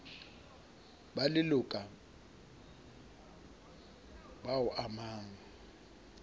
ba leloka boa o amang